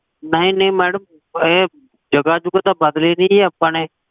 ਨਹੀ ਨਹੀ madam ਇਹ ਜਗਹ ਜੁਗਹ ਤਾ ਬਦਲੀ ਨੀ ਆਪਾ ਨੇ